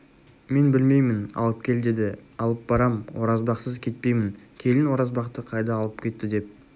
мен білмеймін алып кел деді алып барам оразбақсыз кетпеймін келін оразбақты қайда алып кетті деп